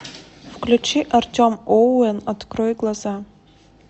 включи артем оуэн открой глаза